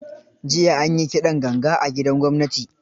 Jiya an yi kidan ganga a gidan gwamnati.